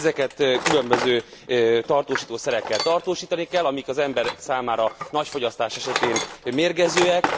Ezeket különböző tartósítószerekkel tartósítani kell, amik az emberek számára nagy fogyasztás esetén mérgezőek.